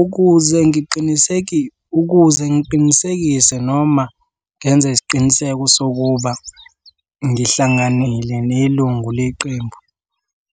Ukuze ukuze ngiqinisekise noma ngenze isiqiniseko sokuba ngihlanganile nelungu leqembu,